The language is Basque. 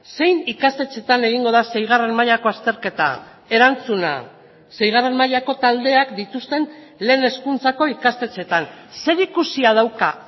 zein ikastetxetan egingo da seigarren mailako azterketa erantzuna seigarren mailako taldeak dituzten lehen hezkuntzako ikastetxetan zer ikusia dauka